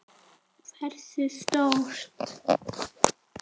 Hversu stórt?